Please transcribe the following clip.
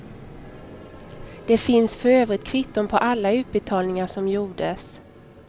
Det finns för övrigt kvitton på alla utbetalningar som gjordes.